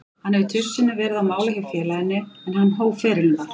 Hann hefur tvisvar sinnum verið á mála hjá félaginu, en hann hóf ferilinn þar.